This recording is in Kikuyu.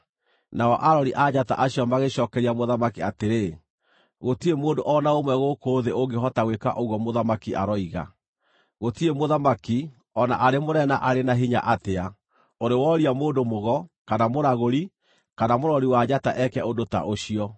Nao arori a njata acio magĩcookeria mũthamaki atĩrĩ, “Gũtirĩ mũndũ o na ũmwe gũkũ thĩ ũngĩhota gwĩka ũguo mũthamaki aroiga! Gũtirĩ mũthamaki, o na arĩ mũnene na arĩ na hinya atĩa, ũrĩ wooria mũndũ-mũgo, kana mũragũri, kana mũrori wa njata eke ũndũ ta ũcio.